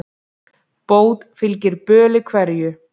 Bót fylgir böli hverju.